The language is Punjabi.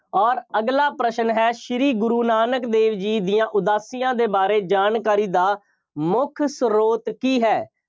ਅੋਰ ਅਗਲਾ ਪ੍ਰਸ਼ਨ ਹੈ। ਸ਼੍ਰੀ ਗੁਰੂ ਨਾਨਕ ਦੇਵ ਜੀ ਦੀਆਂ ਉਦਾਸੀਆਂ ਦੇ ਬਾਰੇ ਜਾਣਕਾਰੀ ਦਾ ਮੁੱਖ ਸਰੋਤ ਕੀ ਹੈ?